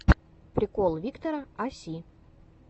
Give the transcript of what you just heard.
прикол виктора а си